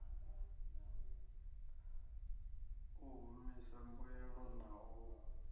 u humisa mbuelo na u